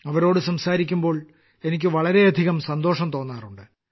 അവരോടു സംസാരിക്കുമ്പോൾ എനിക്ക് വളരെയധികം സന്തോഷം തോന്നാറുണ്ട്